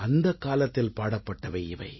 அந்தக் காலத்தில் பாடப்பட்டவை இவை